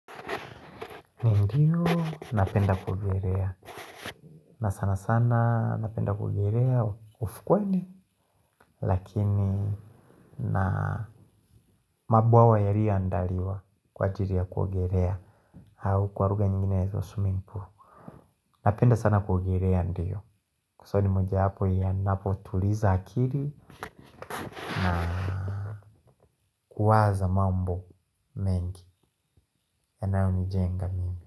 Ndiyo, napenda kuogelea. Na sana sana napenda kuogelea ufukwani. Lakini na mabwawa yaliyo andaliwa kwa ajiri ya kuogerea. Au kwa ruga nyinginezo swimmimg pool. Napenda sana kuogerea ndiyo. Kusali moja hapo yanapotuliza hakiri na kuwaza mambo mengi. Yanayo ni jenga mingi.